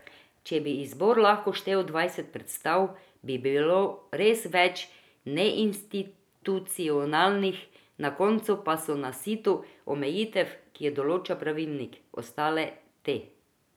Če bi izbor lahko štel dvajset predstav, bi bilo res več neinstitucionalnih, na koncu pa so na situ omejitev, ki jih določa pravilnik, ostale te.